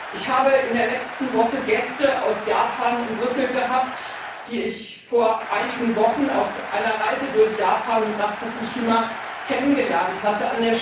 Ich habe in der letzten Woche Gäste aus Japan in Brüssel gehabt, die ich vor einigen Wochen auf einer Reise durch Japan und nach Fukushima kennengelernt hatte.